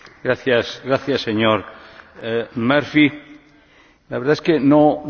La verdad es que no resisto la tentación de compartir con ustedes una pequeña reflexión.